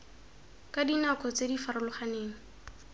ka dinako tse di farologaneng